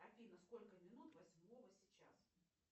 афина сколько минут восьмого сейчас